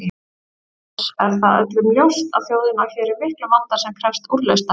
Oss er það öllum ljóst að þjóðin á hér í miklum vanda sem krefst úrlausnar.